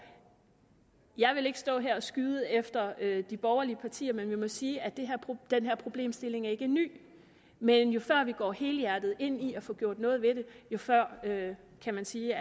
og jeg vil ikke stå her og skyde efter de borgerlige partier men vi må bare sige at den her problemstilling ikke er ny men jo før vi går helhjertet ind i at få gjort noget ved det jo før kan kan man sige